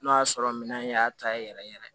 N'o y'a sɔrɔ minɛn in y'a ta ye yɛrɛ yɛrɛ